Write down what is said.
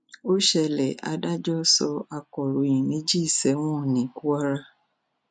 ó ṣẹlẹ adájọ sọ akọròyìn méjì sẹwọn ní kwara